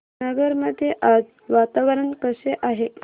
नगर मध्ये आज वातावरण कसे आहे